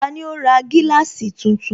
Tani ó ra gíláàsì tuntun?